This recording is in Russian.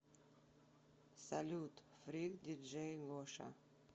салют фрик диджей лоша